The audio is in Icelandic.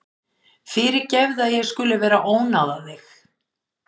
Fyrirgefðu að ég skuli vera að ónáða þig.